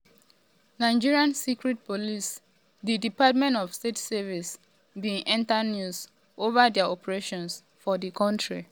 nigeria secret police di um department of state services (dss) bin enta news um over dia operations for di kontri.